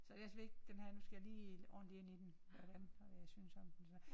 Så det også vigtigt den her nu skal jeg lige ordenligt ind i den hvordan hvad jeg synes om den så